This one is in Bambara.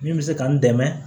Min bɛ se k'an dɛmɛ